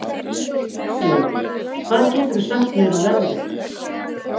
Stanley, hvað geturðu sagt mér um veðrið?